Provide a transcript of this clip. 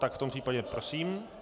Tak v tom případě prosím.